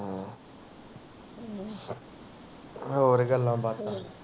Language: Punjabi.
ਹੋਰ ਗੱਲਾਂ ਬਾਤਾਂ